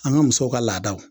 An ka musow ka laadaw